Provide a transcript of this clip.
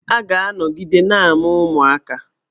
A ga-anọgide na-amụ ụmụaka.